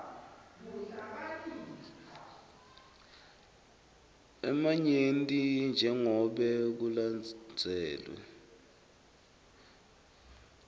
lamanyenti jengobe kulandzelwe